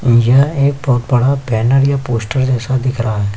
और यह एक बहुत बड़ा बैनर या पोस्टर जैसा दिख रहा है।